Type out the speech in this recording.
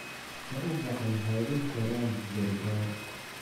Ma uu gacan haadin karaan gargaar.